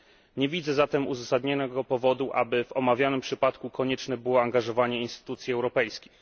Nie widzę zatem uzasadnionego powodu, aby w omawianym przypadku konieczne było angażowanie instytucji europejskich.